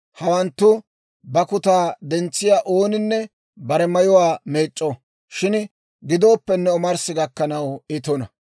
Hawanttu bakkutaa dentsiyaa ooninne bare mayuwaa meec'c'o; shin gidooppenne omarssi gakkanaw I tuna.